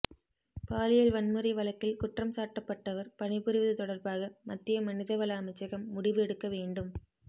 பாலியல் வன்முறை வழக்கில் குற்றம்சாட்டப்பட்டவர் பணிபுரிவது தொடர்பாக மத்திய மனிதவள அமைச்சகம் முடிவு எடுக்க வேண்டும்